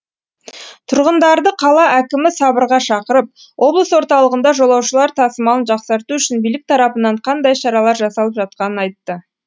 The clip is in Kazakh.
тұрғындарды қала әкімі сабырға шақырып облыс орталығында жолаушылар тасымалын жақсарту үшін билік тарапынан қандай шаралар жасалып жатқанын айтты